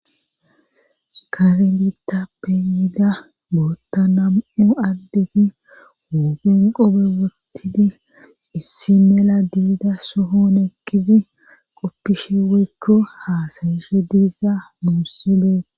kare bitappeyiida bootta nam7u addeti woopen qobe wotidi issi mela diida sohon eqqizi qoppishe woykko haasayishe diiza muussibee